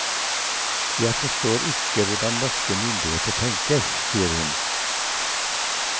Jeg forstår ikke hvordan norske myndigheter tenker, sier hun.